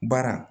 Baara